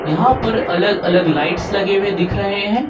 यहां पर अलग अलग लाइट्स लगे हुए दिख रहे हैं।